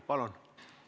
Palun!